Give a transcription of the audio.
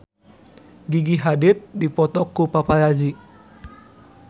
Gigi Hadid dipoto ku paparazi